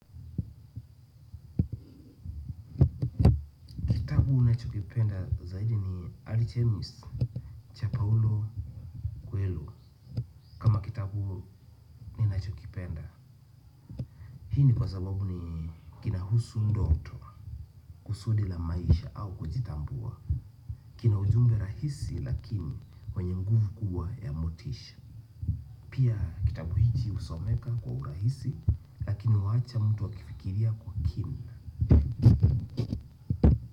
Kitabu unacho kipenda zaidi ni Alchemist, cha Paolo Coelho, kama kitabu ninachokipenda. Hii ni kwa sababu ni kinahusu ndoto kusudi la maisha au kujitambua. Kina ujumbe rahisi lakini wenye mguvu kubwa ya motisha. Pia kitabu hiki husomeka kwa urahisi lakini huwacha mtu akifikiria kwa kina.